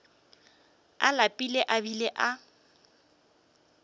a lapile a bile a